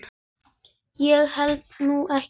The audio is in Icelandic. Ég held nú ekki.